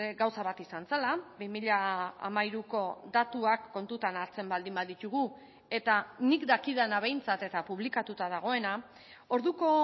gauza bat izan zela bi mila hamairuko datuak kontutan hartzen baldin baditugu eta nik dakidana behintzat eta publikatuta dagoena orduko